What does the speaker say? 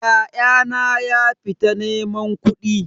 Ya'yana ya fita neman kudi.